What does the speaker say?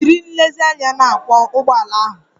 Jiri nlezianya na-akwọ ụgbọala ahụ!